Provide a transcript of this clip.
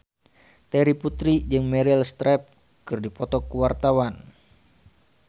Terry Putri jeung Meryl Streep keur dipoto ku wartawan